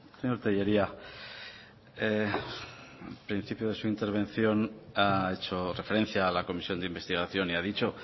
señor tellería en principio de su intervención ha hecho referencia a la comisión de investigación y ha dicho